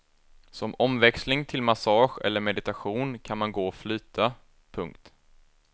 Som omväxling till massage eller meditation kan man gå och flyta. punkt